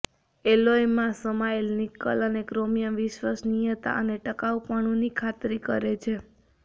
એલોયમાં સમાયેલ નિકલ અને ક્રોમિયમ વિશ્વસનીયતા અને ટકાઉપણુંની ખાતરી કરે છે